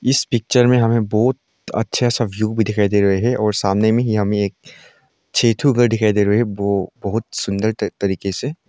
इस पिक्चर मे हमे बहोत अच्छा सा व्यू भी दिखाई दे रहे है और सामने मे ही हमे एक छे थो घर दिखाई दे रहे है बो बहोत सुन्दर त तरीके से--